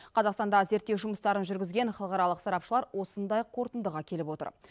қазақстанда зерттеу жұмыстарын жүргізген халықаралық сарапшылар осындай қорытындыға келіп отыр